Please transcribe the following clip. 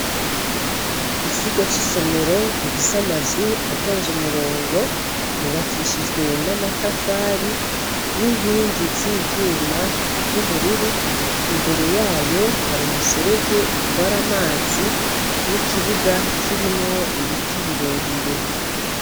Ikigo c'isomero gifise amazu atonze umurongo. Yubakishijwe n'amatafari n'inkingi z'ivyuma vy'ubururu, imbere yayo hari umuserege utwara amazi n'ikibuga kirimwo ibiti birebire.